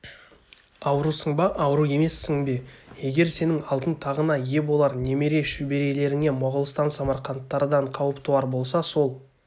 аурусың ба ауру емессің бе егер сенің алтын тағыңа ие болар немере-шөберелеріңе моғолстан самарқанттардан қауіп туар болса сол